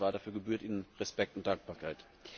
Dafür gebührt Ihnen Respekt und Dankbarkeit.